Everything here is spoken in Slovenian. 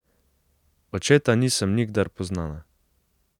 Očeta nisem nikdar poznala.